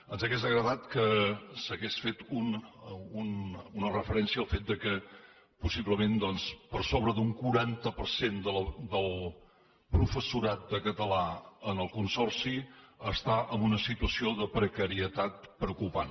ens hauria agradat que s’hagués fet una referència al fet que possiblement doncs per sobre d’un quaranta per cent del professorat de català en el consorci està en una situació de precarietat preocupant